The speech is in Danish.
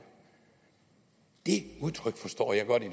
det udtryk forstår jeg godt i